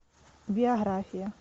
биография